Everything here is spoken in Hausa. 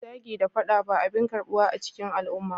Zagi da fada ba abin karbuwa a cikin al'umma